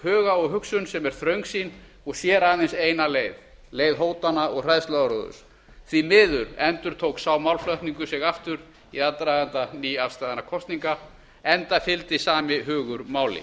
huga og hugsun sem er þröngsýn og sér aðeins eina leið leið hótana og hræðsluáróðurs því miður endurtók sá málflutningur sig aftur í aðdraganda nýafstaðinna kosninga enda fylgdi sami hugur máli